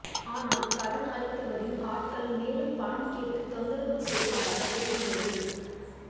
ஆனால் கடன் அளித்தவரின் ஆட்கள் மேலும் பணம் கேட்டு தொந்தரவு செய்ததாக தெரிகிறது